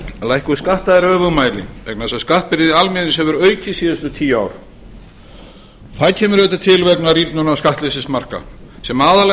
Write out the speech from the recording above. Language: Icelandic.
lækkun skatta er öfugmæli vegna þess að skattbyrði almennings hefur aukist síðustu tíu ár það kemur auðvitað til vegna rýrnunar skattleysismarka sem aðallega